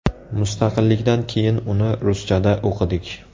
Mustaqillikdan keyin uni ruschada o‘qidik.